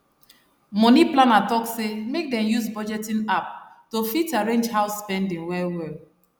money planner talk say make dem use budgeting app to fit arrange house spending wellwell